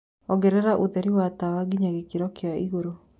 Ongereraũtherĩ wa tawa ngĩnya gĩkĩro kĩaĩgũrũ